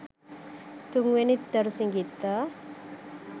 තුන් වෙනි දරුසිඟිත්තා